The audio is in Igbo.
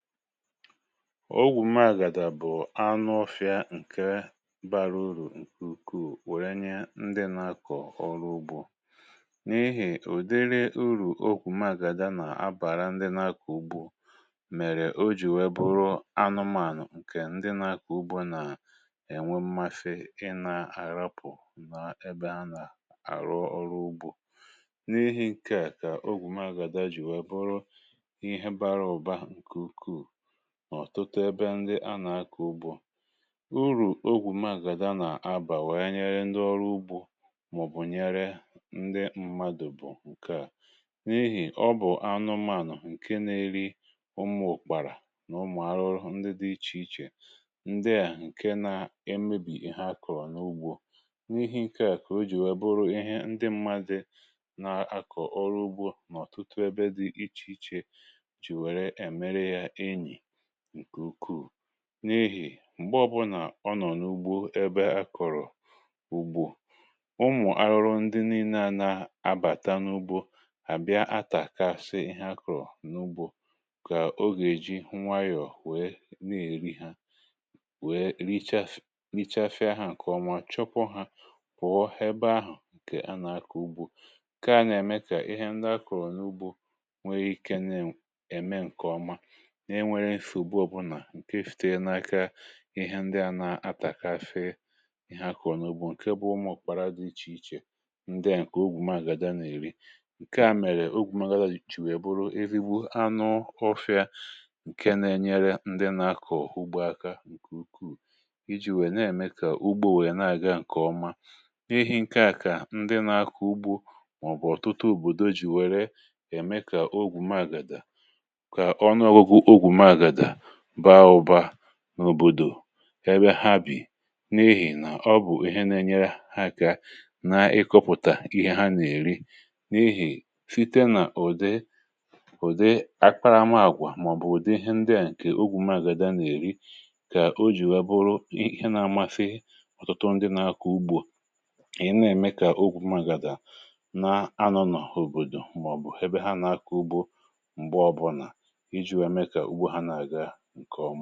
ọgwụ̀ mmȧgàdà bụ̀ anụ ofịa ǹkè bara urù ǹkè ukwuù wère nye ndị nà-akọ̀ ọrụ ugbȯ n’ihì ụ̀dịrị urù ọ̀gwụ̀ mmȧgàdà nà-abàra ndị nà-akọ̀ ugbȯ, um mèrè o jì wee bụrụ anụmànụ̀ ǹkè ndị nà-akọ̀ ugbȯ nà-ènwe mmafe ịnȧ-àrapụ̀ nà ebe a nà-àrụ ọrụ ugbȯ. n’ihì ǹkè à kà ọ̀gwụ̀ mmȧgàdà jì wee bụrụ ọ̀tụtụ ebe ndị anà-akọ̀ ugbȯ. urù ọ̀gwụ̀ mmȧgàdà nà-abà wee nyere ndị ọrụ ugbȯ màọ̀bụ̀ nyere ndị mmadụ̀, bụ̀ ǹkè n’ihì nà ọ bụ̀ anụmànụ̀ ǹkè na-eri umù òkpàrà nà umù arụrụ, ndị dị ichèichè ndị à ǹkè na-emebi ihe akọ̀rọ̀ n’ugbȯ. n’ihe ǹkè à kà o jì wee bụrụ ihe ndị mmadụ̇ nà-akọ̀ ọrụ ugbȯ n’ọ̀tụtụ ebe dị ichèichè. n’ihì m̀gbe ọbụlà ọ nọ̀ n’ugbȯ ebe akọ̀rọ̀ ugbo, ụmụ̀ arụrụ ndị na-ina n’abàta n’ugbȯ àbịa atàkasị ihe akọ̀rọ̀ n’ugbȯ, kà oge èji nwayọ̀ nwèe na-èri ha, nwèe richafià hà ǹkè ọmà, chọpụ̀ hà pụ̀ọ ebe ahụ̀. ǹkè a nà-akọ̀ ugbȯ nà-ème kà ihe ndị akọ̀rọ̀ n’ugbȯ nwèe ike na-ème ǹkè ọma ǹke èfute n’aka, kà ihe ndị à na-atà — cafe — ihe akọ̀nụ̀bụ, ǹkè bụ̀ ụmụ̀ kpàrà dị ichèichè. ndị à ǹkè ọ̀gwụ̀ mmȧgàdà n’èri ǹkè à, mèrè ọ̀gwụ̀ mmȧgàdà jìchì wèe bụrụ erigbu anụ ofịa ǹkè nà-ènyere ndị nà-akọ̀ ugbȯ aka ǹkè ukwuù iji̇ wèe na-ème kà ugbȯ wèe na-àga ǹkèọma. n’ihì ǹkè à kà ndị nȧ-akọ̀ ugbȯ màọbụ̀ ọ̀tụtụ òbòdo jì wèe ree, ème kà ọ̀gwụ̀ mmȧgàdà n’òbòdò ebe ha bì n’ihì nà ọ bụ̀ ihe na-enyere ha aka na-ịkọ̇pụ̀tà ihe ha nà-èri n’ihì site nà ùde ùde akparȧma àkwà màọ̀bụ̀ ùde ihe ndị à. ǹkè ọ̀gwụ̀ mmȧgàdà nà-èri kà o jì wee bụrụ ihe nà-amȧfị ọ̀tụtụ ndị nȧ-akọ̇ ugbȯ, ị̀ na-eme kà ọ̀gwụ̀ mmȧgàdà nà-anọ̀ ha n’òbòdò màọ̀bụ̀ ebe ha nà-akọ̇ ugbȯ m̀gbe ọbọ nà ǹkèọma.